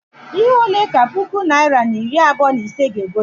Ihe ole ka puku naịra na iri abụọ na ise ga- egote?